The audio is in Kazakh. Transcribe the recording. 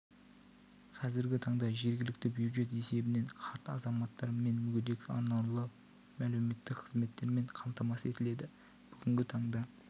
қазіргі таңда жергілікті бюджет есебінен қарт азаматтар мен мүгедектер арнаулы әлеуметтік қызметтермен қамтамасыз етіледі бүгінгі таңда